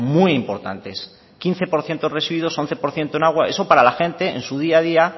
muy importantes quince por ciento residuos once por ciento en agua eso para la gente en su día a día